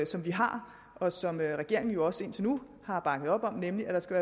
som vi har og som regeringen jo også indtil nu har bakket op om nemlig at der skal